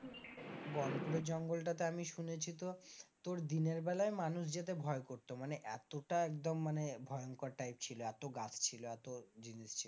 গনপুরের জঙ্গলটা তে আমি শুনেছি তো তোর দিনের বেলায় মানুষ যেতে ভয় করত মানে এতটা একদম মানে ভয়ংকর type ছিল এত গাছ ছিল এত জিনিস ছিল।